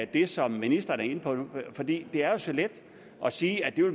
det som ministeren er inde på for det er så let at sige at